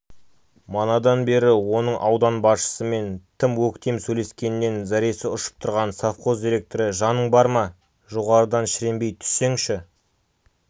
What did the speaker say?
манадан бері оның аудан басшысымен тым өктем сөйлескенінен зәресі ұшып тұрған совхоз директоры жаның бар ма жоғарыдан шіренбей түссеңші